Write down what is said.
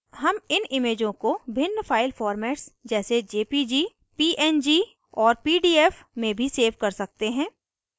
हम इन इमेजों को भिन्न file formats जैसे jpg png और pdf में भी सेव कर सकते हैं